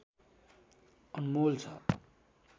अनमोल छ